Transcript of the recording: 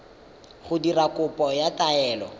go dira kopo ya taelo